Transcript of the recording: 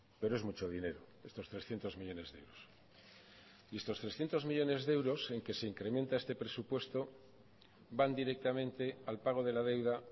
pero es mucho dinero estos trescientos millónes de euros y estos trescientos millónes de euros en que se incrementa este presupuesto van directamente al pago de la deuda